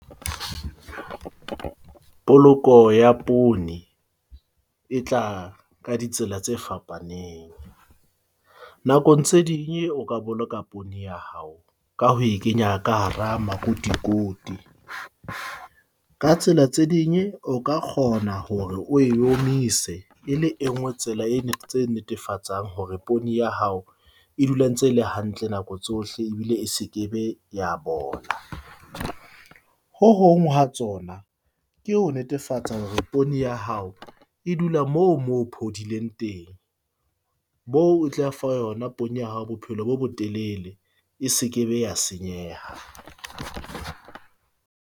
Poloko ya poone e tla ka ditsela tse fapaneng. Nakong tse ding o ka boloka poone ya hao ka ho e kenya ka hara makotikoti. Ka tsela tse ding o ka kgona hore oe omise e le e nngwe tsela e tse netefatsang hore poone ya hao e dula ntse ele hantle nako tsohle ebile e se ke be ya bola. Ho hong ha tsona ke ho netefatsa hore poone ya hao e dula mo mo phodileng teng, moo o tla fa yona poone ya hao bophelo bo bo telele, e se ke be ya senyeha.